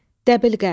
Dəbilqə.